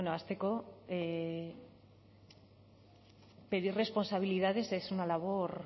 hasteko pedir responsabilidades